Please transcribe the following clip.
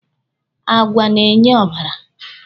Àgwà na-enye ọbara.